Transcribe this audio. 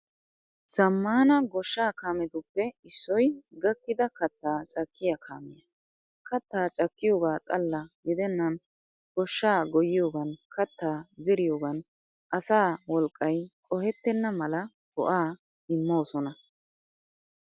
Zammana goshsha kaametuppe issoy gakkida kattaa cakkiya kaamiyaa. Kattaa cakkiyoogaa xalla gidennan goshshaa goyyiyoogan, kattaa zeriyoogan asaa wolqqay qohettenna mala go''aa immoosona.